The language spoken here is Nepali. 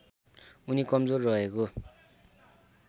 उनी कमजोर रहेको